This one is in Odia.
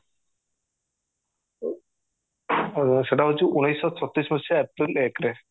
ଆଉ ସେଟା ହେଉଚି ଉଣେଇଶି ସହ ଛତିଶ ମସିହା ଏପ୍ରିଲ ଏକ ରେ